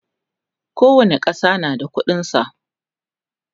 kowani ƙasa na da ƙuɗin sa